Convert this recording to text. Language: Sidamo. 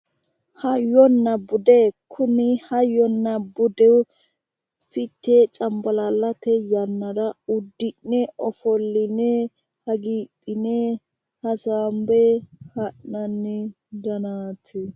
hayyonnna bude kuni hayyonna bude fichee cambalaallate yannara uddi'ne ofolline hagiidhine hasaambe ha'nanni garaati